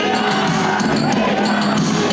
Heydər!